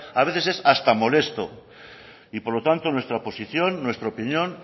a veces es hasta molesto y por lo tanto nuestra posición nuestra opinión